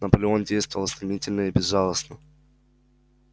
наполеон действовал стремительно и безжалостно